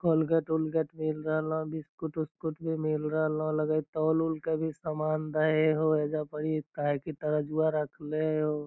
Colgate उलगेट मिल रहल बिस्कुट उसकट भी मिल रहल लगा हई की तोल उल के भी सामान दे हो ऐजा पढ़ी काहे की तरजुआ रखले हो ।